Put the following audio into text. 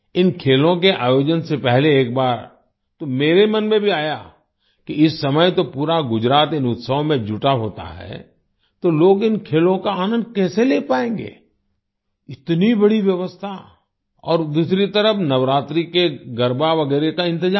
इन खेलों के आयोजन से पहले एक बार तो मेरे मन में भी आया कि इस समय तो पूरा गुजरात इन उत्सवों में जुटा होता है तो लोग इन खेलों का आनंद कैसे ले पाएँगे इतनी बड़ी व्यवस्था और दूसरी तरफ नवरात्रि के गरबा वगैरह का इंतजाम